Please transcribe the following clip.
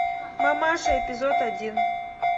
мамаша эпизод один